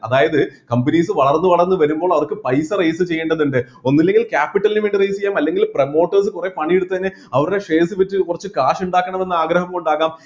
അതായത് companies വളർന്ന് വളർന്ന് വരുമ്പോൾ അവർക്ക് പൈസ raise ചെയ്യേണ്ടതുണ്ട് ഒന്നില്ലെങ്കിൽ capital ന് വേണ്ടി raise ചെയ്യാം അല്ലെങ്കിൽ promotors കുറെ പണി എടുത്തതിന് അവരുടെ shares വിറ്റ് കുറച്ച് കാശ് ഉണ്ടാക്കണം എന്ന് ആഗ്രഹം കൊണ്ടാകാം